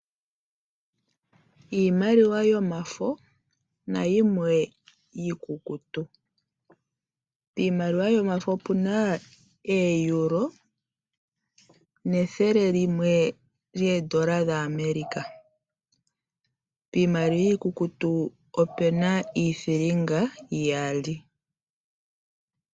Iimaliwa yomafo nayimwe iikukutu. Piimaliwa yomafo opuna euro nethele limwe lyoondola dhaAmerica. Piimaliwa iikukutu opuna iithilinga iyali.